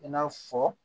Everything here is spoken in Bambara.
I n'a fɔ